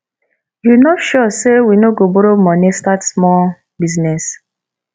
you no sure say we no go borrow money start small business